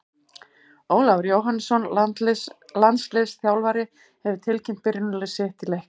Ólafur Jóhannesson, landsliðsþjálfari, hefur tilkynnt byrjunarlið sitt í leiknum.